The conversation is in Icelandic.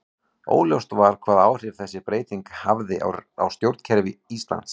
Óljóst var hvaða áhrif þessi breyting hefði á stjórnkerfi Íslands.